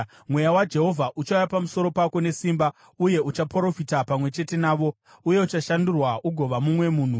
Mweya waJehovha uchauya pamusoro pako nesimba uye uchaprofita pamwe chete navo, uye uchashandurwa ugova mumwe munhu.